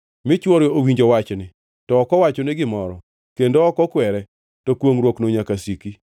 mi chwore owinjo wachni to ok owachone gimoro kendo ok okwere, to kwongʼruokno nyaka siki.